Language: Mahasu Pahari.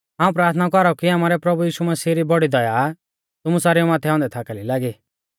हाऊं प्राथना कौराऊ कि आमारै प्रभु यीशु मसीह री बौड़ी दया तुमु सारेऊ माथै औन्दै थाकाली लागी